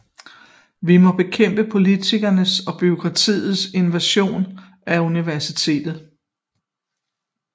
Vi må bekæmpe politikeres og bureaukraters invasion af universitetet